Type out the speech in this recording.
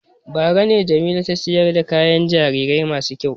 Bara ne Jamila ta sayar da kayan jarirai masu kyau.